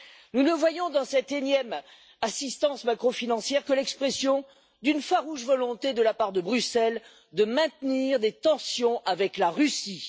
Nous ne voyons dans cette énième assistance macrofinancière que l'expression d'une farouche volonté de la part de Bruxelles de maintenir des tensions avec la Russie.